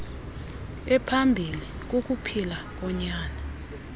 ephambilli kukuphila konyana